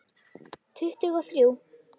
Tuttugu og þrjú!